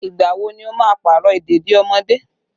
Ìgbà wo ni o máa Pààrọ̀ ìdèdí ọmọdé?